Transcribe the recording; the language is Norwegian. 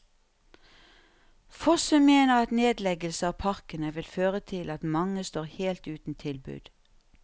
Fossum mener at nedleggelse av parkene vil føre til at mange står helt uten tilbud.